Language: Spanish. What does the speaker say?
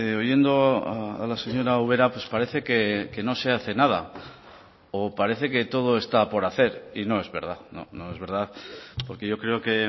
oyendo a la señora ubera pues parece que no se hace nada o parece que todo está por hacer y no es verdad no es verdad porque yo creo que